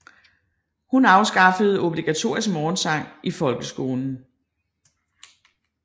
Hun afskaffede obligatorisk morgensang i folkeskolen